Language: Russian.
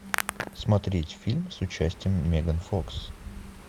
смотреть фильм с участием меган фокс